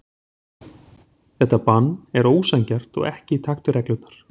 Þetta bann er ósanngjarnt og ekki í takt við reglurnar.